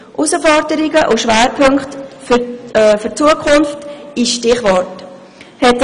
Herausforderungen und Schwerpunkte für die Zukunft in Stichworten: